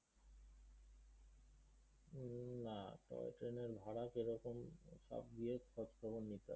উম না। টয় ট্রেনের ভাড়া কিরকম টা নিয়ে খোঁজ খবর নিতে হবে।